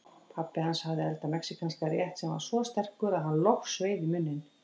Pabbi hans hafði eldað mexíkanskan rétt sem var svo sterkur að hann logsveið í munninn.